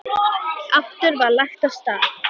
Aftur var lagt af stað.